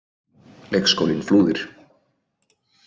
Leikskólinn Flúðir.